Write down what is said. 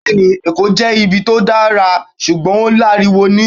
Bẹẹni, Eko jẹ ibi ti o dara ṣugbọn o laríwo ni.